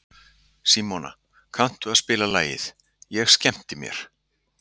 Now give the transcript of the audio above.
Símona, kanntu að spila lagið „Ég skemmti mér“?